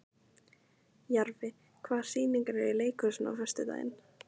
Jarfi, hvaða sýningar eru í leikhúsinu á föstudaginn?